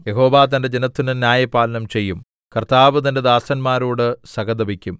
യഹോവ തന്റെ ജനത്തിന് ന്യായപാലനം ചെയ്യും കർത്താവ് തന്റെ ദാസന്മാരോട് സഹതപിക്കും